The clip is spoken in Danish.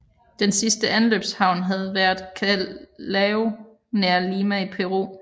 Den sidste anløbshavn havde været Callao nær Lima i Peru